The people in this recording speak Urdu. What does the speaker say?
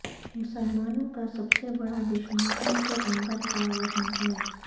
مسلمانوں کا سب سے بڑا دشمن ان کے اندر کا وہن ہے